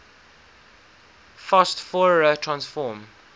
fast fourier transform